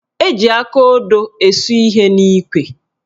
Eji akaodo esu ihe n'ikwe